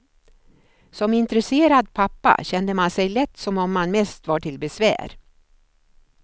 Som intresserad pappa kände man sig lätt som om man mest var till besvär.